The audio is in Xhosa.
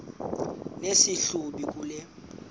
nesi hlubi kule